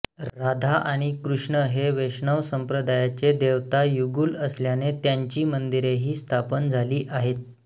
राधा आणि कृष्ण हे वैष्णव संप्रदायाचे देवता युगुल असल्याने त्यांची मंदिरेही स्थापन झाली आहेत